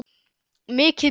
Mikið betur.